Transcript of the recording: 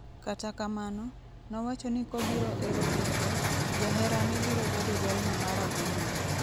kata kamano, nowacho ni kobiro ero kendo, jaherane biro bedo jalno marahuma